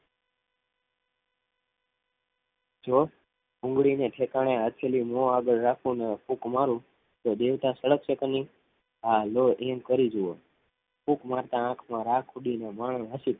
જો ભૂંગળી ને ઠેખાડા ફૂક મારૂ થો દેવતા સદક્સે કે નહીં હાલો યેમ કરી જાઉં ફૂક મારતા આખ આખ માં આસું પડીગયા